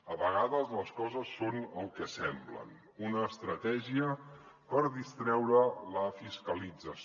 a vegades les coses són el que semblen una estratègia per distreure la fiscalització